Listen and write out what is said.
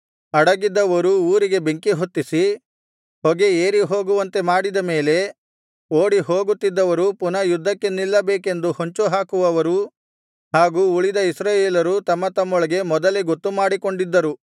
ಅಡಗಿದ್ದವರು ಊರಿಗೆ ಬೆಂಕಿಹೊತ್ತಿಸಿ ಹೊಗೆ ಏರಿಹೋಗುವಂತೆ ಮಾಡಿದ ಮೇಲೆ ಓಡಿಹೋಗುತ್ತಿದ್ದವರು ಪುನಃ ಯುದ್ಧಕ್ಕೆ ನಿಲ್ಲಬೇಕೆಂದು ಹೊಂಚು ಹಾಕುವವರೂ ಹಾಗು ಉಳಿದ ಇಸ್ರಾಯೇಲರೂ ತಮ್ಮ ತಮ್ಮೊಳಗೆ ಮೊದಲೇ ಗೊತ್ತುಮಾಡಿಕೊಂಡಿದ್ದರು